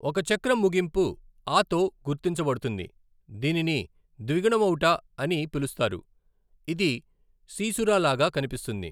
ఒక చక్రం ముగింపు అ తో గుర్తించబడుతుంది, దీనిని ద్విగుణమౌట అ అని పిలుస్తారు, ఇది సీసురా లాగా కనిపిస్తుంది.